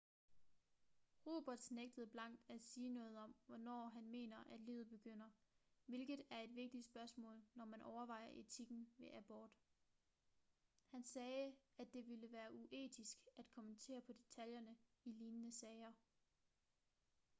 roberts nægtede blankt at sige noget om hvornår han mener at livet begynder hvilket er et vigtigt spørgsmål når man overvejer etikken ved abort han sagde at det ville være uetisk at kommentere på detaljerne i lignende sager